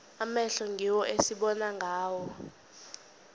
amehlo ngiwo esibona ngawo